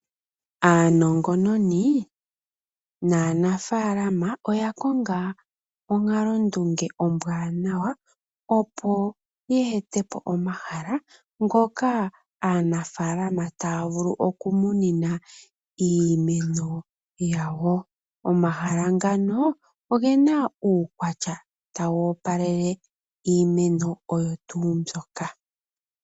Aanongononi nanafalama oya konga onkalo ndunge ombwaanawa, opo yeetepo omahala ngoka aanafalama taya vulu okumunina iimeno yawo. Omahala ngano ogena uukwatya tawu opalele iimeno oyo tuu mbyoka.